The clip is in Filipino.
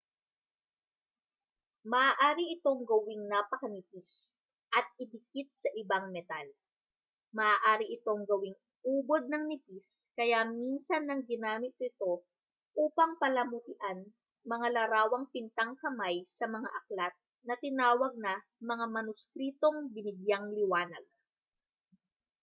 maaari itong gawing napakanipis at idikit sa ibang metal maaari itong gawing ubod ng nipis kaya minsan nang ginamit ito upang palamutian mga larawang pintang-kamay sa mga aklat na tinawag na mga manuskritong binigyang-liwanag